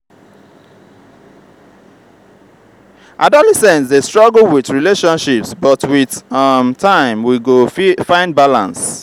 adolescents dey struggle with relationships but with um time we go find balance.